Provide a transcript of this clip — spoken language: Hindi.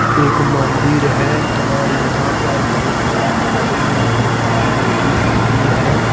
एक मंदिर है और यहां पर बहुत सारा आदमी और बहुत सारा लेडीज भी है।